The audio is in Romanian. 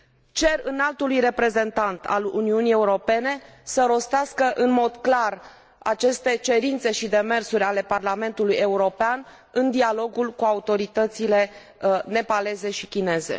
Cer Înaltului Reprezentant al Uniunii Europene să rostească în mod clar aceste cerințe și demersuri ale Parlamentului European în dialogul cu autoritățile nepaleze și chineze.